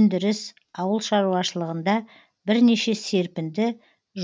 өндіріс ауыл шаруашылығында бірнеше серпінді